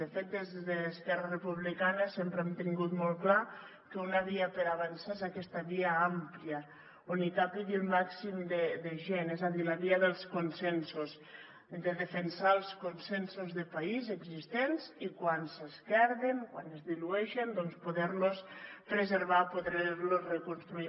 de fet des d’esquerra republicana sempre hem tingut molt clar que una via per avançar és aquesta via àmplia on hi càpiga el màxim de gent és a dir la via dels consensos de defensar els consensos de país existents i quan s’esquerden quan es dilueixen doncs poder los preservar poder los reconstruir